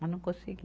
Mas não consegui.